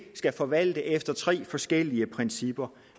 skal forvalte efter tre forskellige principper